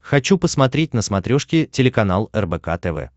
хочу посмотреть на смотрешке телеканал рбк тв